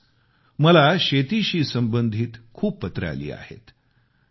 म्हणूनच मला शेतीशी संबधित खूप पत्र आली आहेत